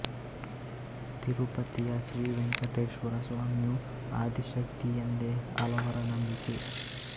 ತಿರುಪತಿಯ ಶ್ರೀ ವೆಂಕಟೇಶ್ವರ ಸ್ವಾಮಿಯೂ ಆದಿಶಕ್ತಿ ಎಂದೇ ಹಲವರ ನಂಬಿಕೆ